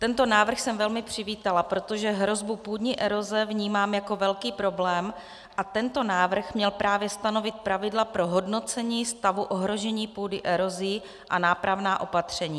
Tento návrh jsem velmi přivítala, protože hrozbu půdní eroze vnímám jako velký problém a tento návrh měl právě stanovit pravidla pro hodnocení stavu ohrožení půdy erozí a nápravná opatření.